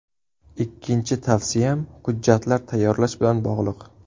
Ikkinchi tavsiyam hujjatlar tayyorlash bilan bog‘liq.